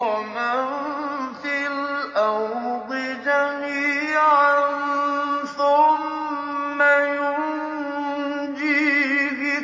وَمَن فِي الْأَرْضِ جَمِيعًا ثُمَّ يُنجِيهِ